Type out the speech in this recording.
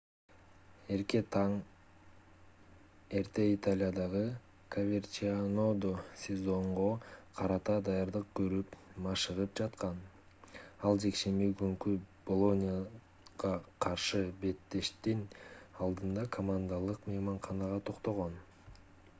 ярке таң эрте италиядагы коверчианодо сезонго карата даярдык көрүп машыгып жаткан ал жекшемби күнкү болонияга каршы беттештин алдында командалык мейманканага токтогон